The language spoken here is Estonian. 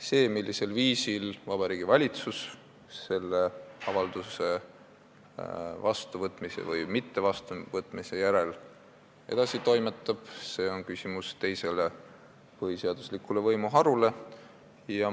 See, millisel viisil Vabariigi Valitsus selle avalduse vastuvõtmise või mittevastuvõtmise järel edasi toimetab, on küsimus teisele põhiseaduslikule võimuharule.